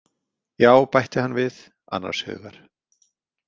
Já, bætti hann við, annars hugar.